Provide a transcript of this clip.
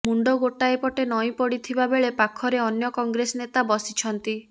ମୁଣ୍ଡ ଗୋଟିଏ ପଟେ ନଇଁ ପଡିଥିବା ବେଳେ ପାଖରେ ଅନ୍ୟ କଂଗ୍ରେସ ନେତା ବସିଛନ୍ତି